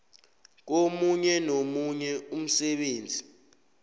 komunye nomunye umsebenzi